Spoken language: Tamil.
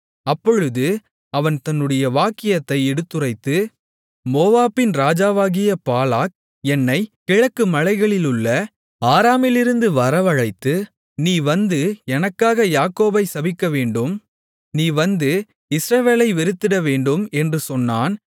அப்பொழுது அவன் தன்னுடைய வாக்கியத்தை எடுத்துரைத்து மோவாபின் ராஜாவாகிய பாலாக் என்னைக் கிழக்கு மலைகளிலுள்ள ஆராமிலிருந்து வரவழைத்து நீ வந்து எனக்காக யாக்கோபைச் சபிக்கவேண்டும் நீ வந்து இஸ்ரவேலை வெறுத்துவிடவேண்டும் என்று சொன்னான்